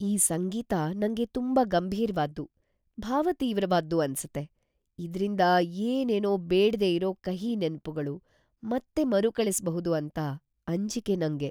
ಈ ಸಂಗೀತ ನಂಗೆ ತುಂಬಾ ಗಂಭೀರ್ವಾದ್ದು, ಭಾವತೀವ್ರವಾದ್ದು ಅನ್ಸತ್ತೆ.. ಇದ್ರಿಂದ ಏನೇನೋ ಬೇಡ್ದೇ ಇರೋ ಕಹಿ ನೆನ್ಪುಗಳು ಮತ್ತೆ ಮರುಕಳಿಸ್ಬಹುದು ಅಂತ ಅಂಜಿಕೆ ನಂಗೆ.